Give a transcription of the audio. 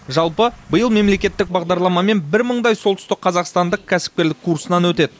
жалпы биыл мемлекеттік бағдарламамен бір мыңдай солтүстікқазақстандық кәсіпкерлік курсынан өтеді